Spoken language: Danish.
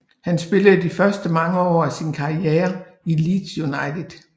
Han spillede de første mange år af sin karriere i Leeds United